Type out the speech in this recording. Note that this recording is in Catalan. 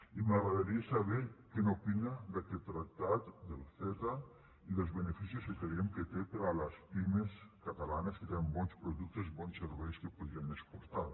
i m’agradaria saber què n’opina d’aquest tractat del ceta i dels beneficis que creiem que té per a les pimes catalanes que tenen bons productes i bons serveis que podrien exportar